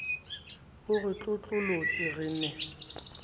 o re tlotlolotse re ne